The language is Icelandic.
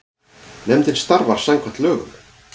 Nefndin starfar samkvæmt lögum.